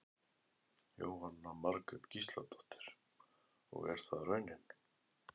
Jóhanna Margrét Gísladóttir: Og er það raunin?